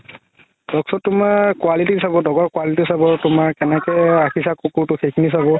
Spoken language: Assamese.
talk show তুমাৰ quality চাব dog ৰ quality চাব তুমাৰ কেনেকুৱা কে ৰাখিছা কুকুৰতো সেইখিনি চাব